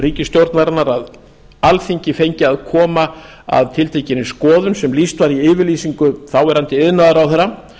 ríkisstjórnarinnar að alþingi fengi að koma að tiltekinni skoðun sem lýst var í yfirlýsingu þáverandi iðnaðarráðherra